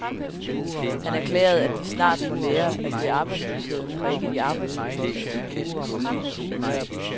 Han erklærede, at de snart må lære, at det er arbejdsløsheden og ikke de arbejdsløse, der skal bekæmpes.